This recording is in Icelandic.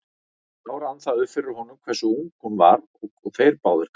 Þá rann það upp fyrir honum hversu ung hún var og þeir báðir gamlir.